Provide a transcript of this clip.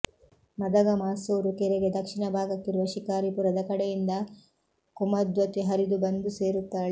ಮದಗ ಮಾಸೂರು ಕೆರೆಗೆ ದಕ್ಷಿಣ ಭಾಗಕ್ಕಿರುವ ಶಿಕಾರಿಪುರದ ಕಡೆಯಿಂದ ಕುಮದ್ವತಿ ಹರಿದು ಬಂದು ಸೇರುತ್ತಾಳೆ